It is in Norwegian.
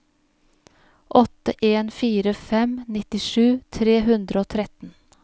åtte en fire fem nittisju tre hundre og tretten